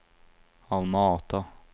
Alma Ata